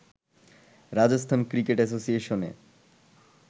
Rajasthan cricket অ্যাসোসিয়েশনে